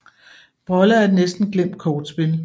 Brolle er et næsten glemt kortspil